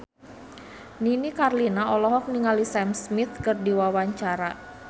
Nini Carlina olohok ningali Sam Smith keur diwawancara